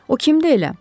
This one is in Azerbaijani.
O kimdir elə?